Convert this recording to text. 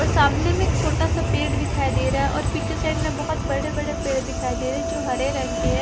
और सामने में एक छोटा सा पेड़ दिखाई दे रहा है और पीछे साइड में बहुत बड़े बड़े पेड़ दिखाई दे रहे हैं जो हरे रंग के है ।